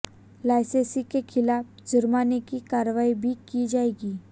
लाइसेंसी के खिलाफ जुर्माने की कार्रवाई भी की जाएगी